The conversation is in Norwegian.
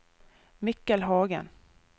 Mikkel Hagen